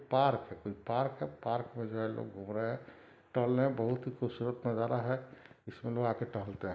Park है park में जो है लोग घूम रहे है टहलने बहुत ही खूबसूरत नजारा है इसमें लोग आके टहलते है।